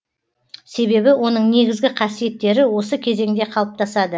себебі оның негізгі қасиеттері осы кезеңде қалыптасады